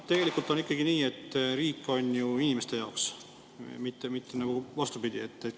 Tegelikult on ikkagi nii, et riik on ju inimeste jaoks, mitte vastupidi.